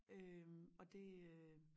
Øh og det øh